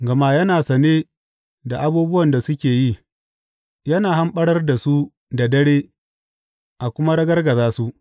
Gama yana sane da abubuwan da suke yi, yana hamɓarar da su da dare a kuma ragargaza su.